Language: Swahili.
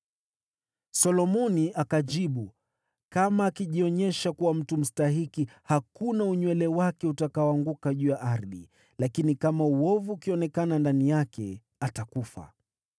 Solomoni akajibu, “Kama akijionyesha kuwa mtu mstahiki, hakuna unywele wake utakaoanguka juu ya ardhi, lakini kama uovu ukionekana ndani yake, atakufa.”